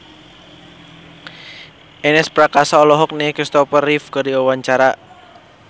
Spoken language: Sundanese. Ernest Prakasa olohok ningali Kristopher Reeve keur diwawancara